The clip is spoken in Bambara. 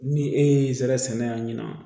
Ni e ye sara sɛnɛla ɲɛna